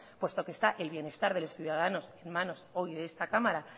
puesto que esta el bienestar de los ciudadanos en manos hoy de esta cámara